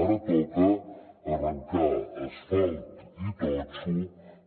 ara toca arrencar asfalt i totxo